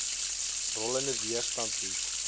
rollende weerstand bied